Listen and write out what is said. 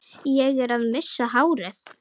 Ég er að missa hárið.